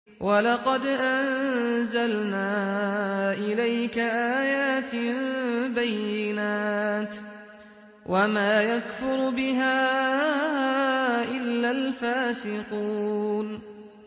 وَلَقَدْ أَنزَلْنَا إِلَيْكَ آيَاتٍ بَيِّنَاتٍ ۖ وَمَا يَكْفُرُ بِهَا إِلَّا الْفَاسِقُونَ